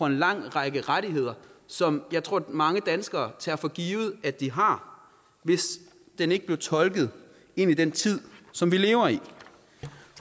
en lang række rettigheder som jeg tror mange danskere tager for givet at de har hvis den ikke blev tolket ind i den tid som vi lever i